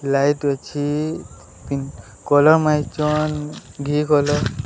Light ଅଛି pink colour ମାରିଚନ ଘି କଲର୍ ।